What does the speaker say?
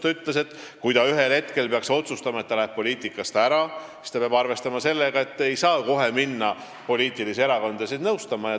Ta ütles, et kui ta ühel hetkel peaks otsustama, et ta läheb poliitikast ära, siis ta peab arvestama sellega, et ta ei saa kohe minna erakondi nõustama.